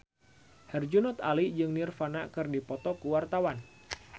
Herjunot Ali jeung Nirvana keur dipoto ku wartawan